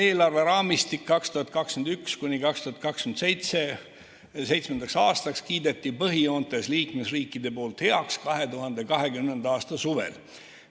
Eelarveraamistik 2021.–2027. aastaks kiideti põhijoontes liikmesriikide poolt heaks 2020. aasta suvel.